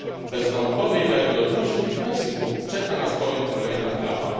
Bez naukowej wiarygodności w Meksyku czeka nas bowiem kolejna klapa.